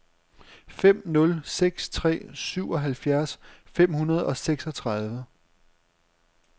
fem nul seks tre syvoghalvfjerds fem hundrede og seksogtredive